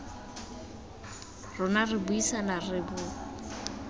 rona re buisana re bo